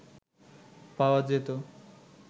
পাওয়া যেতো